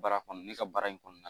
Baara kɔnɔ ne ka baara in kɔnɔna na